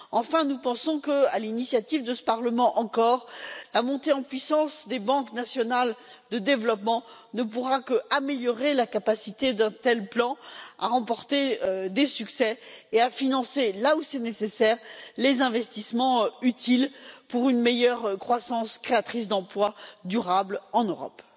Enfin, nous pensons que, à l'initiative de ce Parlement encore, la montée en puissance des banques nationales de développement ne pourra qu'améliorer la capacité d'un tel plan à remporter des succès et à financer, là où c'est nécessaire, les investissements utiles pour une meilleure croissance créatrice d'emplois durables en Europe.